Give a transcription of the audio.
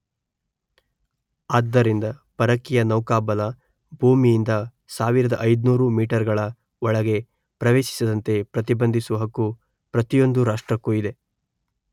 ಆದ್ದರಿಂದ ಪರಕೀಯ ನೌಕಾಬಲ ಭೂಮಿಯಿಂದ ಸಾವಿರದ ಐನೂರು ಮೀಟರ್ ಗಳ ಒಳಗೆ ಪ್ರವೇಶಿಸದಂತೆ ಪ್ರತಿಬಂಧಿಸುವ ಹಕ್ಕು ಪ್ರತಿಯೊಂದು ರಾಷ್ಟ್ರಕ್ಕೂ ಇದೆ.